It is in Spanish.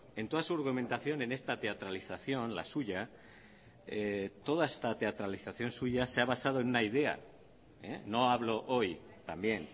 en toda su argumentación en esta teatralización la suya toda esta teatralización suya se ha basado en una idea no hablo hoy también